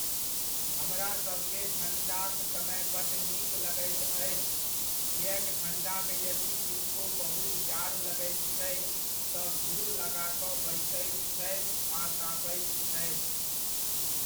हमरासबकेँ ठण्डाक समय बड्ड नीक लगैत अछि, किएक ठण्डामे यदि किनको बहुत जाड़ लगैत छै, तँ घूर लगा कऽ बैसैत छथि आ तापैत छथि।